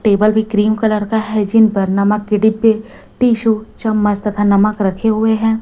Table भी cream colour का है जिन पर नमक की डिब्बी टिशु चम्मच तथा नमक रखे हुए हैं।